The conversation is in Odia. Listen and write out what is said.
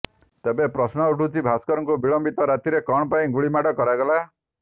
ତେବେ ପ୍ରଶ୍ନ ଉଠୁଛି ଭାସ୍କରଙ୍କୁ ବିଳମ୍ବିତ ରାତିରେ କଣ ପାଇଁ ଗୁଳିମାଡ କରାଗଲା